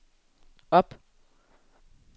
op